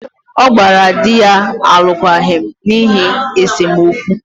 ọ gbara di ya alụkwaghịm n’ihi esemokwu